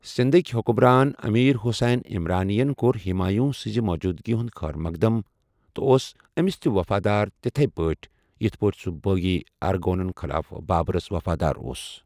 سِندٕھ كہِ حُکمران امیر حسین عمرانی ین کوٚر ہمایوٕں سنزِ موٗجوٗدگی ہُنٛد خٲرمقدم تہٕ اوس أمِس تہِ وفادار تِتھے پٲٹھہِ یِتھ پٲٹھۍ سُہ بٲغی ارغونن خلاف بابرس وفادار اوس ۔